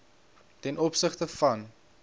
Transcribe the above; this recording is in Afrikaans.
ten opsigte van